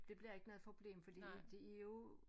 Det bliver ikke noget problem fordi det er jo